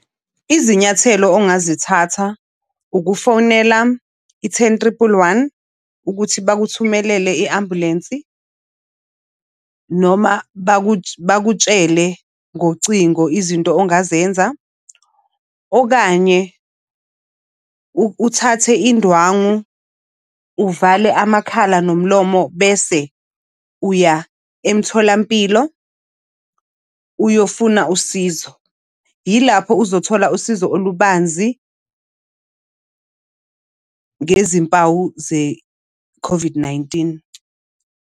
Izinyathelo ongazithatha ukufonela i-ten triple one, ukuthi bakuthumelele i-ambulensi noma bakutshele ngocingo izinto ongazenza. Okanye uthathe indwangu uvale amakhala nomlomo, bese uya emtholampilo uyofuna usizo. Yilapho uzothola usizo olubanzi ngezimpawu ze-COVID-19.